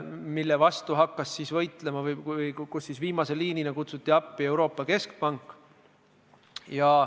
Selle vastu hakkas siis võitlema või viimase liinina kutsuti appi Euroopa Keskpank.